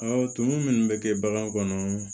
tumu minnu bɛ kɛ bagan kɔnɔ